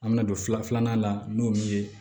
An bɛna don fila filanan la n'o min ye